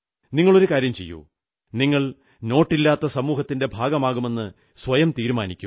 നിങ്ങളൊരു കാര്യം ചെയ്യൂ നിങ്ങൾ നോട്ടില്ലാത്ത സമൂഹത്തിന്റെ ഭാഗമാകുമെന്ന് സ്വയം തീരുമാനിക്കൂ